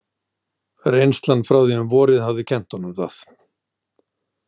Reynslan frá því um vorið hafði kennt honum það.